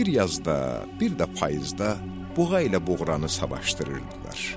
Bir yazda, bir də payızda buğa ilə buğranı savaşdırırdılar.